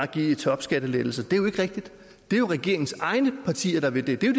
give topskattelettelser er det jo ikke rigtigt det er jo regeringens egne partier der vil det det er